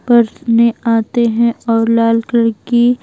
पढ़ने आते हैं और लाल कलर की --